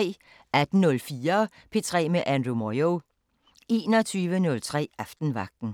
18:04: P3 med Andrew Moyo 21:03: Aftenvagten